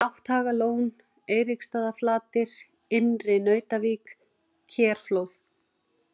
Nátthagalón, Eiríksstaðaflatir, Innri-Nautavík, Kerflóð